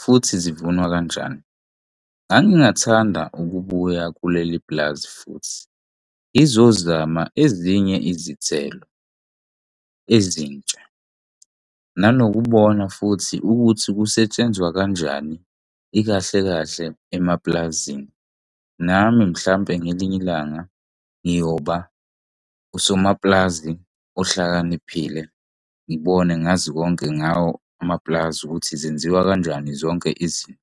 futhi zivunywa kanjani. Ngangingathanda ukubuka kuleli pulazi futhi ngizozama ezinye izithelo ezintsha. Nanokubona futhi ukuthi kusetshenzwa kanjani, ikahle kahle emapulazini nami mhlampe ngelinye ilanga ngiyoba usomaplazi ohlakaniphile, ngibone ngazi konke ngawo amapulazi ukuthi zenziwa kanjani zonke izinto.